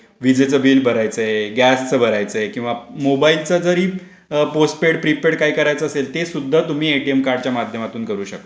विजेचं बिल भरायचय गॅसच भरायचय किंवा मोबाईलचा जरी पोस्टपेड प्रीपेड काय करायचं असेल ते सुद्धा तुम्ही एटीएम कार्डच्या माध्यमातून करू शकता.